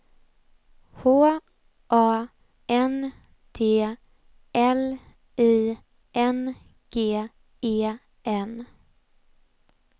H A N D L I N G E N